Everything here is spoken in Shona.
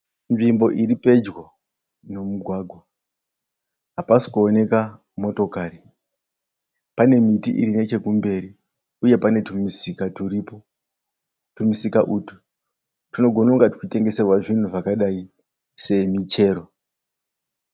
Nzvimbo iri pedyo nemugwagwa. Hapasi kuonekwa motokari. Pane miti iri nechekumberi uye pane tumisika turipo. Tumisika utwu tunogona kunga tuchitengeserwa zvinhu zvakadai semichero.